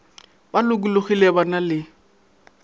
ba lokologile ba na le